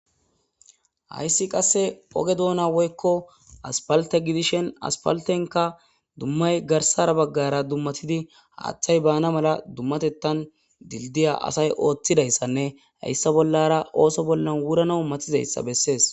Haysi qase oge duna woyko asphalte gidishn asphaltenak bollayi garsa bagara dumatidi haathayi baana mala dumatethani dildya asayi oothidaysanne haysa bollara ootho bollani wurana matizysa besesi.